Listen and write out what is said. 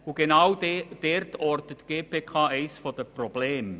Genau dort ortet die GPK ein Problem: